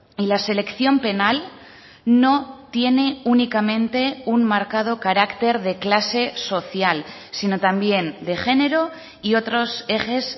y la selección penal no tiene únicamente un marcado carácter de clase social sino también de género y otros ejes